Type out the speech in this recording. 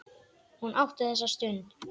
Hún átti þessa stund.